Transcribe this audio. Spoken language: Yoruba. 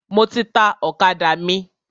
Mo ti ta ọ̀kadà mi.